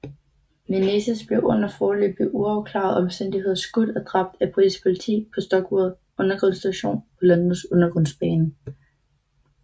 Menezes blev under foreløbig uafklarede omstændigheder skudt og dræbt af britisk politi på Stockwell undergrundsstation på Londons undergrundsbane